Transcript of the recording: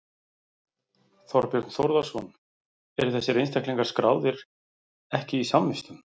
Þorbjörn Þórðarson: Eru þessir einstaklingar skráðir ekki í samvistum?